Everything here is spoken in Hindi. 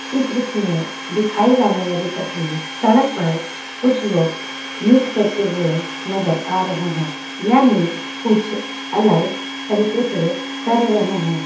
इस दरूस मे दिकाई जाने वाले तस्वीर सड़क पर कुछ लोग नृत्य करते हुए नजर आ रहे हे या निर्ध कुछ अलग तरीके से कर रहे हैं ।